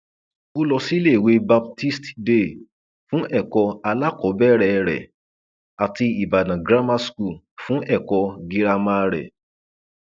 ó lọ síléèwé baptist day fún ẹkọ alákọọbẹrẹ rẹ àti ìbàdàn grammar school fún ẹkọ girama rẹ